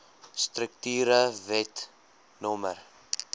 strukture wet no